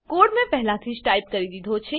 code મેં પહેલાથી જ ટાઈપ કરી દીધો છે